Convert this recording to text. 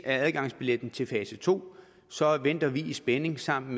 er adgangsbilletten til fase to så venter vi i spænding sammen